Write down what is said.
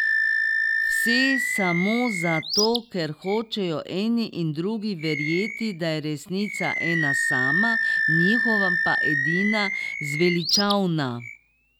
Vse samo zato, ker hočejo eni in drugi verjeti, da je resnica ena sama, njihova pa edina zveličavna.